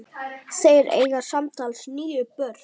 Þeir eiga samtals níu börn.